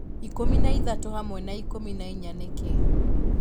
ikũmi na ithatũ hamwe na ikũmi na ĩnya nĩ kĩĩ